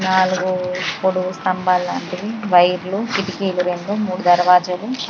నాలుగు పొడుగు స్తంబాలు వైర్లు కిటికీలు రెండు మూడు దర్వాజలు --